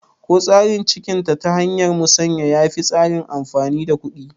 Ko tsarin ciniki ta hanyar musanya yafi tsarin amfani da kuɗi?